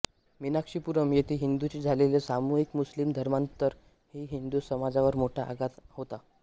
मीनाक्षीपुरम येथे हिंदूंचे झालेले सामूहिक मुस्लिम धर्मांतर ही हिंदू समाजावर मोठा आघात होता